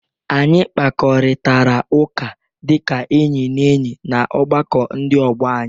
Anyị kparịkọtara ụka dịka enyi na enyi na ọgbakọ ndị ọgbọ anyị.